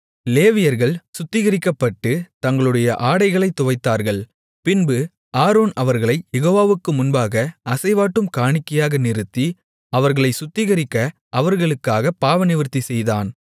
லேவியர்கள் சுத்திகரிக்கப்பட்டு தங்களுடைய ஆடைகளைத் துவைத்தார்கள் பின்பு ஆரோன் அவர்களைக் யெகோவாவுக்கு முன்பாக அசைவாட்டும் காணிக்கையாக நிறுத்தி அவர்களைச் சுத்திகரிக்க அவர்களுக்காகப் பாவநிவிர்த்தி செய்தான்